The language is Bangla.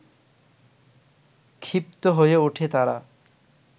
ক্ষিপ্ত হয়ে ওঠে তারা